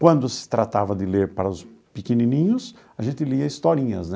Quando se tratava de ler para os pequenininhos, a gente lia historinhas, né?